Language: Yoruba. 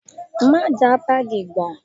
Má jàá báàgì gbà!